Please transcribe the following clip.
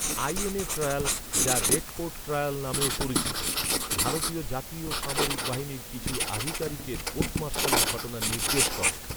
INA trial, যা Red Fort trial নামেও পরিচিত, ভারতীয় জাতীয় সামরিক বাহিনীর কিছু আধিকারিকের কোর্ট মার্শালের ঘটনা নির্দেশ করে।